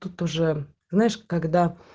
тут уже знаешь когда